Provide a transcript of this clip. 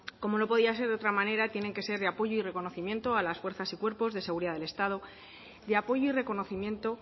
como no podía ser de otra manera tienen que ser de apoyo y reconocimiento a las fuerzas y cuerpos de seguridad del estado de apoyo y reconocimiento